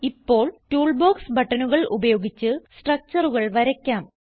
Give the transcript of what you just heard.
ഇപ്പോൾ ടൂൾബോക്സ് ബട്ടണുകൾ ഉപയോഗിച്ച് structureകൾ വരയ്ക്കാം